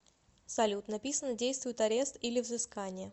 салют написано действует арест или взыскание